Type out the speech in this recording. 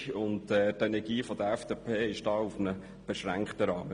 Die Begeisterung und die Energie der FDP halten sich in einem beschränkten Rahmen.